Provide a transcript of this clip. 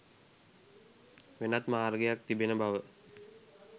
වෙනත් මාර්ගයක් තිබෙන බව